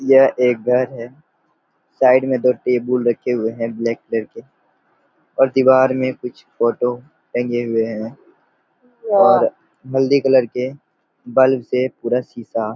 यह एक घर है साइड में दो टेबुल रखे हुए है ब्लैक कलर के और दिवार में कुछ फोटो टंगे हुए है और हल्दी कलर के बल्ब से पूरा सीसा --